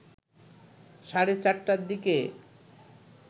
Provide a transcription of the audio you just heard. সাড়ে ৪টার দিকে